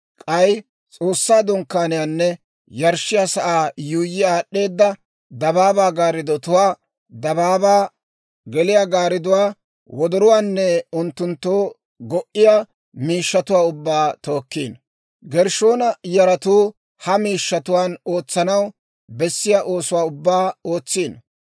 k'ay S'oossaa Dunkkaaniyaanne yarshshiyaa sa'aa yuuyyi aad'd'eeda dabaabaa gaariddotuwaa, dabaabaa geliyaasaa gaaridduwaa, wodorotuwaanne unttunttoo go"iya miishshatuwaa ubbaa tookkino. Gershshoona yaratuu ha miishshatuwaan ootsanaw bessiyaa oosuwaa ubbaa ootsino.